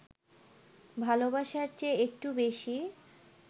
ভালোবাসার চেয়ে একটু বেশি